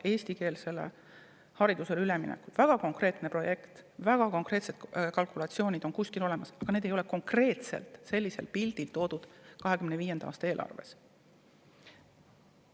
Näiteks on eestikeelsele haridusele üleminek väga konkreetne projekt, väga konkreetsed kalkulatsioonid on kuskil olemas, aga need ei ole konkreetselt ära toodud 2025. aasta eelarves.